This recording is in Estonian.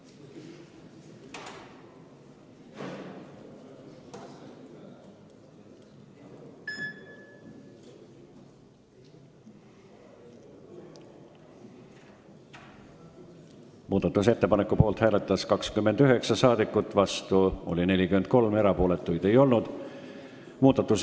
Hääletustulemused Muudatusettepaneku poolt hääletas 29 rahvasaadikut, vastu oli 43, erapooletuid ei olnud.